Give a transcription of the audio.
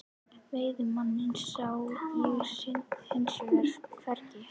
Veiðimanninn sá ég hins vegar hvergi.